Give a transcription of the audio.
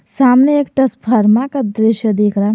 सामने एक टसफरमा का दृश्य दिख रहा।